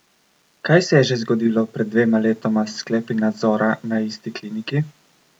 Kaj se je že zgodilo pred dvema letoma s sklepi nadzora na isti kliniki?